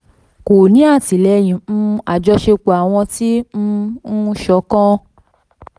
kò ní àtìlẹ́yìn um àjọṣepọ̀ àwọn ti um n ṣọkan.